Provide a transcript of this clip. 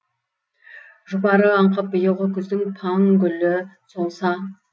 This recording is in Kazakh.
жұпары аңқып биылғы күздің паң гүлі солса